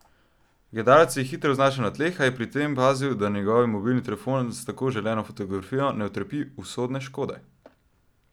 Gledalec se je hitro znašel na tleh, a je pri tem pazil, da njegov mobilni telefon s tako želeno fotografijo ne utrpi usodne škode.